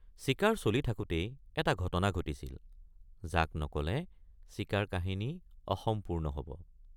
চিকাৰ চলি থাকোঁতেই এটা ঘটনা ঘটিছিল যাক নকলে চিকাৰ কাহিনী অসম্পূৰ্ণ হব।